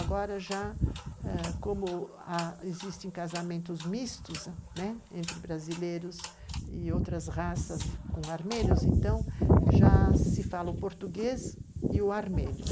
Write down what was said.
Agora já ãh, como existem casamentos mistos entre brasileiros e outras raças com armênios, então já se fala o português e o armênio.